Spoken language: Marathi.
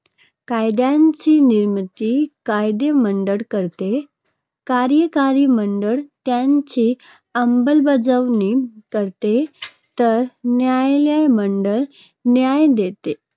कायद्यांची निर्मिती कायदेमंडळ करते. कार्यकारी मंडळ त्यांची अंमलबजावणी करते तर न्यायलयमंडळ न्याय देते.